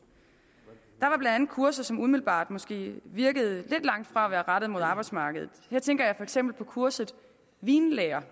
der var blandt andet kurser som umiddelbart måske virkede lidt langt fra at være rettet mod arbejdsmarkedet her tænker jeg for eksempel på kurset vinlære